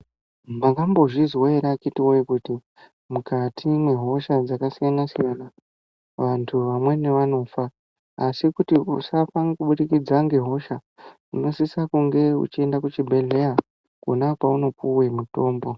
Mwakambozvizwa ere vakiti vowye , kuti mukati mwehosha dzakasiyanasiyana vantu vamweni vanofa ,asi kuti usafa kubudikidza ngehosha unosise kunge uchienda kuchibhehleya kona kwauno piwe mutombo.